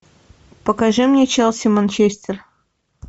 покажи мне челси манчестер